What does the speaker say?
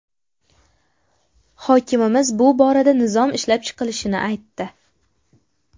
Hokimimiz bu borada nizom ishlab chiqilishini aytdi.